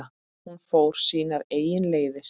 Hún fór sínar eigin leiðir.